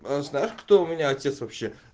знаешь кто у меня отец вообще